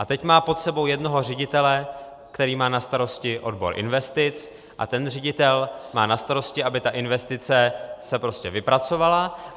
A teď má pod sebou jednoho ředitele, který má na starosti odbor investic, a ten ředitel má na starosti, aby ta investice se prostě vypracovala.